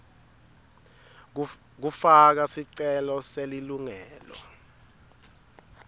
kufaka sicelo selilungelo